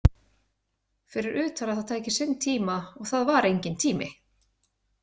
Fyrir utan að það tæki sinn tíma og það var enginn tími.